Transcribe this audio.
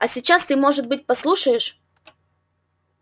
а сейчас ты может быть послушаешь